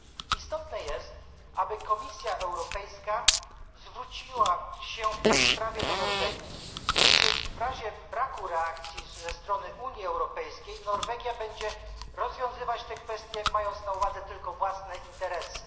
Istotne jest, aby Komisja Europejska zwróciła się w tej sprawie do Norwegii, gdyż w razie braku reakcji ze strony Unii Europejskiej Norwegia będzie rozwiązywać te kwestie mając na uwadze tylko własne interesy.